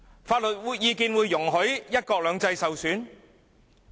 法律意見會容許"一國兩制"受損嗎？